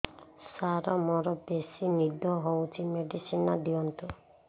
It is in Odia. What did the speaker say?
ସାର ମୋରୋ ବେସି ନିଦ ହଉଚି ମେଡିସିନ ଦିଅନ୍ତୁ